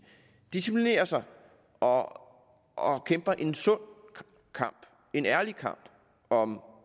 disciplinerer sig og og kæmper en sund kamp en ærlig kamp om